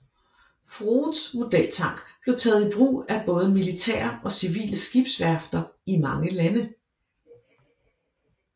Froudes modeltank blev taget i brug af både militære og civile skibsværfter i mange lande